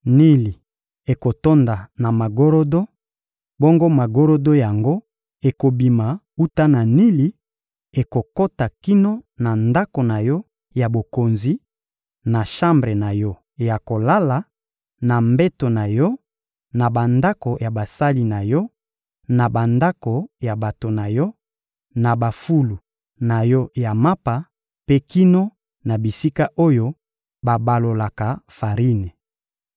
Nili ekotonda na magorodo; bongo magorodo yango ekobima wuta na Nili, ekokota kino na ndako na yo ya bokonzi, na shambre na yo ya kolala, na mbeto na yo, na bandako ya basali na yo, na bandako ya bato na yo, na bafulu na yo ya mapa mpe kino na bisika oyo babalolaka farine.